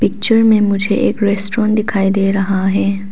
Picture में मुझे एक रेस्टोरेंट दिखाई दे रहा है।